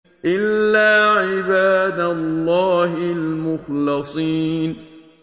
إِلَّا عِبَادَ اللَّهِ الْمُخْلَصِينَ